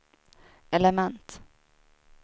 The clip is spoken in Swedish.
element